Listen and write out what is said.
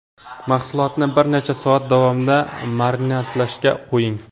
Mahsulotni bir necha soat davomida marinadlashga qo‘ying.